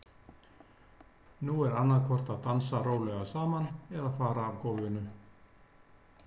Nú er annað hvort að dansa rólega saman eða fara af gólfinu.